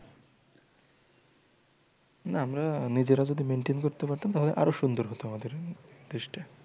না আমরা নিজেরা যদি maintain করতে পারতাম তাহলে আরও সুন্দর হতো আমাদের দেশটা।